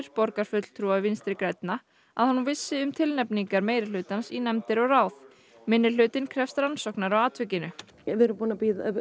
borgarfulltrúa Vinstri grænna að hún vissi um tilnefningar minnihlutans í nefndir og ráð minnihlutinn krefst rannsóknar á atvikinu við erum búin að